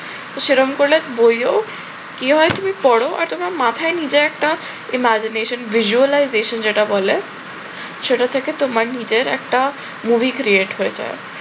সেই রকম করলে বইও কি হয় তুমি পড় আর মাথায় নিজে একটা imagination visualization যেটা বলে সেটা থেকে তোমার নিজের একটা movie create হয়ে যায়